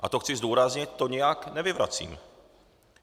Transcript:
A to chci zdůraznit, to nijak nevyvracím.